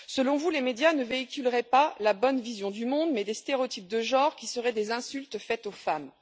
Selon vous, les médias ne véhiculeraient pas la bonne vision du monde mais des stéréotypes de genre qui seraient des insultes faites aux femmes.